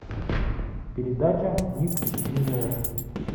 передача ник джуниор